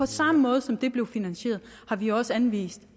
samme måde som det blev finansieret har vi også anvist